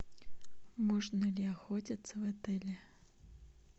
можно ли охотиться в отеле